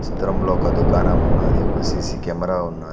చిత్రంలో ఒక దుకాణమున్నాది ఒక సీసీ కెమెరా ఉన్నా--